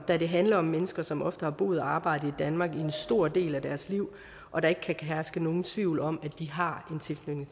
da det handler om mennesker som ofte har boet og arbejdet i danmark en stor del af deres liv og der ikke kan herske nogen tvivl om at de har en tilknytning